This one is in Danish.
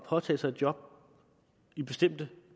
påtage sig et job i bestemte